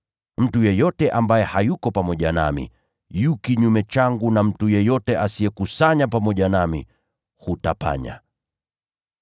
“Mtu asiyekuwa pamoja nami yu kinyume nami, na mtu ambaye hakusanyi pamoja nami, hutawanya.